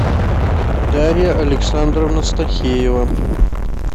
дарья александровна стахеева